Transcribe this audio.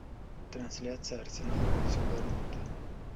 трансляция арсенал против борнмута